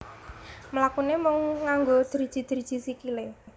Mlakune mung nganggo driji driji sikilé